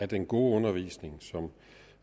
den gode undervisning som